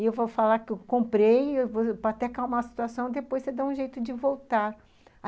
E eu vou falar que eu comprei, até calmar a situação, depois você dá um jeito de voltar.